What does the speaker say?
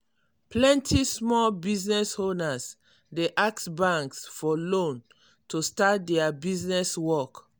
plenty small business owners dey ask banks for loan to start their business work.